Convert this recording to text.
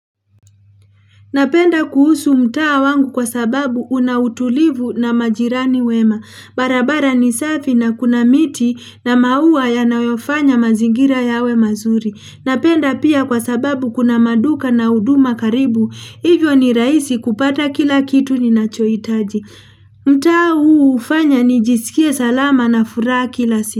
Napenda kuhusu mtaa wangu kwa sababu una utulivu na majirani wema. Barabara ni safi na kuna miti na maua yanayofanya mazingira yawe mazuri. Napenda pia kwa sababu kuna maduka na huduma karibu. Hivyo ni raisi kupata kila kitu ninachoitaji. Mtaa huu hufanya nijisikie salama na furaa kila siku.